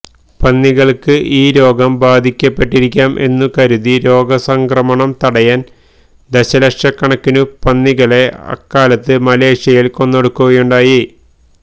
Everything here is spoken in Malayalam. പന്നികൾക്ക് ഈ രോഗം ബാധിക്കപ്പെട്ടിരിക്കാം എന്നു കരുതി രോഗ സംക്രമണം തടയാൻ ദശലക്ഷക്കണക്കിനു പന്നികളെ അക്കാലത്ത് മലേഷ്യയിൽ കൊന്നൊടുക്കുകയുണ്ടായി